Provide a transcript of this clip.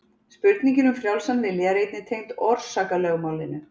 spurningin um frjálsan vilja er einnig tengd orsakalögmálinu